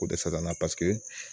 K'o dɛsɛ na pasike